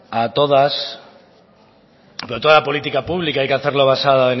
a todas pero toda la política pública hay que hacerlo basada